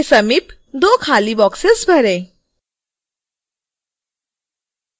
300 के समीप दो खाली बॉक्सेस भरें